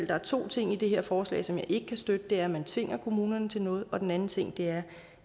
der er to ting i det her forslag som jeg ikke kan støtte og det er at man tvinger kommunerne til noget og den anden ting er